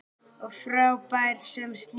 Og frábær sem slíkur.